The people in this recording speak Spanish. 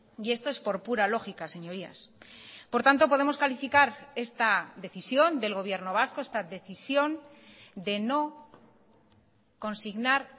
y esto es por pura lógica señorías por tanto podemos calificar esta decisión del gobierno vasco esta decisión de no consignar